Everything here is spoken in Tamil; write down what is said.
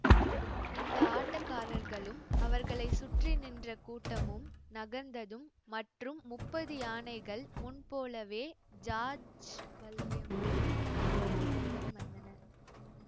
இந்த ஆட்டக்காரர்களும் அவர்களை சுற்றி நின்ற கூட்டமும் நகர்ந்ததும் மற்றும் முப்பது யானைகள் முன்போலவே ஜாஜ்வல்யமான ஆபரணங்களுடன் வந்தன